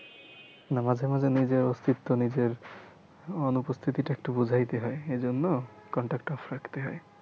না মাঝে মাঝে নিজের অস্থিত্ব নিজের অনুপস্থিতিটা একটু বোঝাইতে হয় এজন্য contact টা off রাখতে হয়